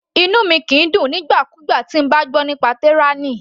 Inú mi kìí dùn nígbà kúgbà tí mo bá gbọ́ nípa tyranny.